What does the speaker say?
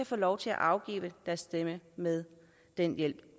få lov til at afgive deres stemme med den hjælp